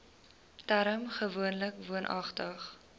term gewoonlik woonagtig